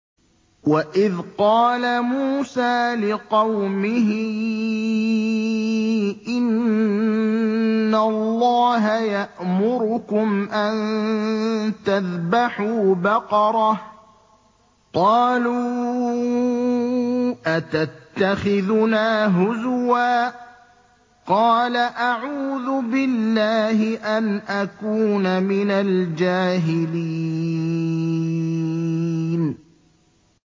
وَإِذْ قَالَ مُوسَىٰ لِقَوْمِهِ إِنَّ اللَّهَ يَأْمُرُكُمْ أَن تَذْبَحُوا بَقَرَةً ۖ قَالُوا أَتَتَّخِذُنَا هُزُوًا ۖ قَالَ أَعُوذُ بِاللَّهِ أَنْ أَكُونَ مِنَ الْجَاهِلِينَ